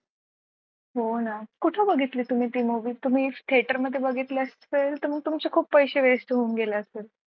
हो ना कुठे बघितली तुम्ही ती मूवी तुम्ही theater मध्ये बघितला असेल तर मग तुमचे खूप पैसे waste होऊन गेले असेल.